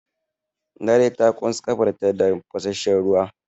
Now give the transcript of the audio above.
Larai ta ƙons ƙafarta da tafasasshen ruwa.